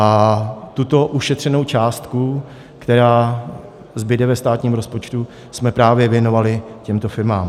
A tuto ušetřenou částku, která zbude ve státním rozpočtu, jsme právě věnovali těmto firmám.